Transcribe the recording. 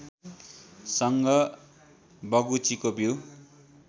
सँग बगुचीको बिउ